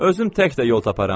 Özüm tək də yol taparam.